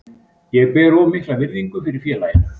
Ég ber of mikla virðingu fyrir félaginu.